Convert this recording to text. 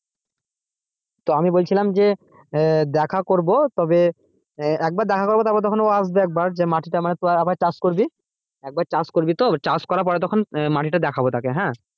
তো আমি বলছিলাম যে দেখা করব তবে একবার দেখা করবো তখন আসবে একবার তো মাটিতে আবার চাষ করবি একবার চাষ করবি তো চাষ করার পর তখন মাটিটা দেখাবো তাকে হ্যাঁ,